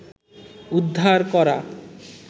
উদ্ধার করা